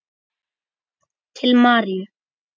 Til Maríu.